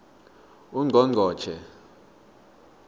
ungqongqotjhe